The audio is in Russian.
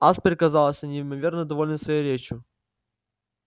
аспер казался неимоверно довольным своей речью